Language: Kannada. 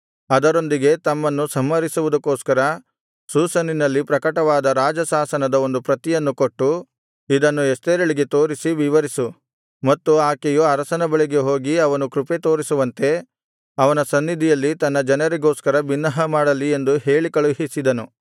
ಅದರೊಂದಿಗೆ ತಮ್ಮನ್ನು ಸಂಹರಿಸುವುದಕ್ಕೋಸ್ಕರ ಶೂಷನಿನಲ್ಲಿ ಪ್ರಕಟವಾದ ರಾಜಶಾಸನದ ಒಂದು ಪ್ರತಿಯನ್ನು ಕೊಟ್ಟು ಇದನ್ನು ಎಸ್ತೇರಳಿಗೆ ತೋರಿಸಿ ವಿವರಿಸು ಮತ್ತು ಆಕೆಯು ಅರಸನ ಬಳಿಗೆ ಹೋಗಿ ಅವನು ಕೃಪೆ ತೋರಿಸುವಂತೆ ಅವನ ಸನ್ನಿಧಿಯಲ್ಲಿ ತನ್ನ ಜನರಿಗೋಸ್ಕರ ಬಿನ್ನಹ ಮಾಡಲಿ ಎಂದು ಹೇಳಿಕಳುಹಿಸಿದನು